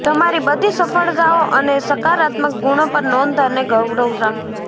તમારી બધી સફળતાઓ અને સકારાત્મક ગુણો પર નોંધ અને ગૌરવ રાખો